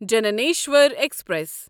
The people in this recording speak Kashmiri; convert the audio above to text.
جنانیسواری ایکسپریس